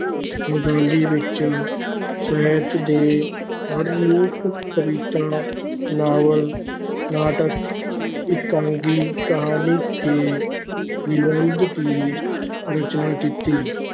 ਬੰਗਾਲੀ ਵਿਚ ਸਾਹਿਤ ਦੇ ਹਰ ਰੂਪ ਕਵਿਤਾ, ਨਾਵਲ, ਨਾਟਕ, ਇਕਾਂਗੀ, ਕਹਾਣੀ ਤੇ ਨਿਬੰਧ ਦੀ ਰਚਨਾ ਕੀਤੀ।